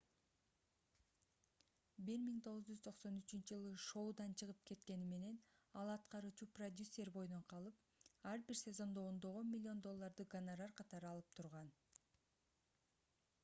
1993-ж шоудан чыгып кеткени менен ал аткаруучу продюсер бойдон калып ар бир сезондо ондогон миллион долларды гонорар катары алып турган